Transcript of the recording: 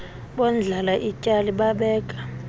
bondlala ityali babeka